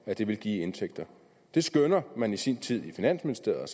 det ville give i indtægter det skønnede man så i sin tid i finansministeriet